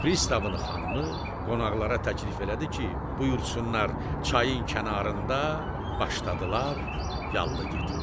Pristavın xanımı qonaqlara təklif elədi ki, buyursunlar çayın kənarında başladılar yallı getməyə.